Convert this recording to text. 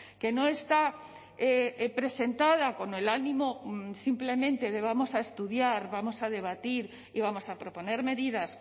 que no está presentada con el ánimo simplemente de vamos a estudiar vamos a debatir y vamos a proponer medidas